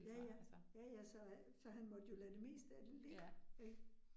Ja ja, ja ja, så øh så han måtte jo lade det meste af det ligge ik